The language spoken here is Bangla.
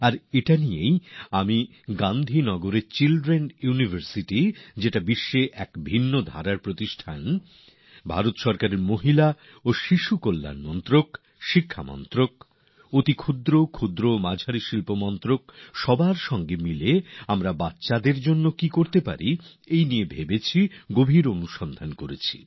আর সে ব্যাপারেই আমি গান্ধীনগরের চিলড্রেন ইউনিভার্সিটি যা নাকি পৃথিবীর বুকে এক অন্যধরণের প্রায়োগিক নিদর্শন ভারত সরকারের মহিলা ও শিশু বিকাশ মন্ত্রক শিক্ষা মন্ত্রক সুক্ষ লঘু এবং মাঝারি শিল্প উদ্যোগ মন্ত্রক সবাই মিলে আমরা শিশুদের জন্য কি করতে পারি সে ব্যাপারে বিচার বিশ্লেষণ করা হয়েছে